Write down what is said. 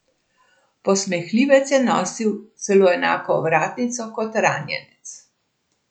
Posmehljivec je nosil celo enako ovratnico kot ranjenec.